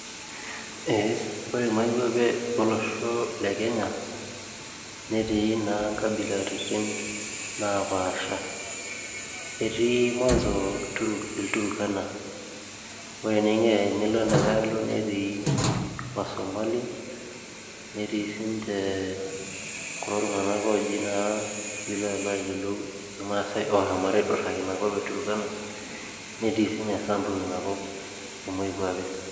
Ee ore naa moikwape olosho le Kenya netii na inkabilaritin naapasha etii ilturkana ore tenilo ina nkae aalo netii wasomali netii sii ninje kulo tung'anak oji naa pii ilo alo aayiolou ilmaasai looshomoita aapuo aidurraki ina kop e turkana netii sii ninye Samburu ina kop e moikwape